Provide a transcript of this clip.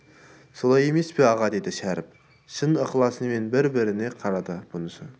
солай емес пе аға деді шәріп шын ықыласымен бір-біріне қарады бұнысы